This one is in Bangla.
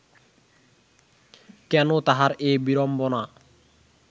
কেন তাঁহার এ বিড়ম্বনা